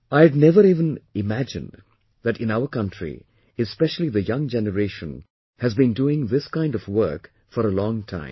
I had never even imagined that in our country especially the young generation has been doing this kind of work from a long time